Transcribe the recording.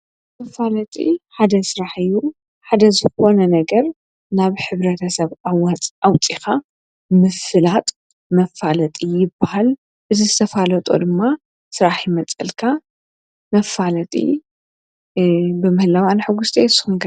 መፋለጢ ሓደ ስራሕ እዩ ።ሓደ ዝኾነ ነገር ናብ ሕብረተሰብ ኣውፂእኻ ምፍላጥ መፋለጢ ይበሃል። እዚ ዝተፋለጠ ድማ ስራሕ ይመፀልካ ።መፋለጢ ብምህላዊ ኣነ ሕጉስቲ እየ ንስኹም ከ?